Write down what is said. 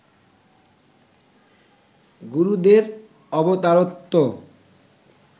গুরুদের অবতারত্বও